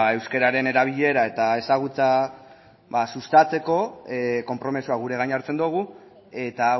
euskararen erabilera eta ezagutza sustatzeko konpromisoa gure gain hartzen dugu eta